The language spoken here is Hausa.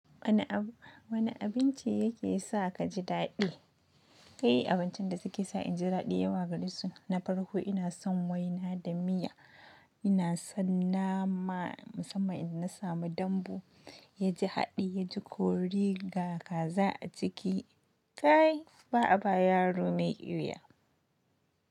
Wane abinci yake sa ka ji daɗi? Kai abincin da suke sa inji daɗi yawa gare su na farko ina son waina da miya. Ina son nama musamman idan na samu dambu ya ji haɗi, ya ji kori ga kaza a ciki. Kai ba a ba yaro mai ƙwuya.